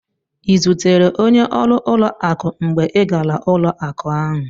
Ị zutere onye ọrụ ụlọakụ mgbe ị gara ụlọakụ ahụ?